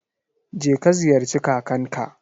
Je ka ziyarci kakanka.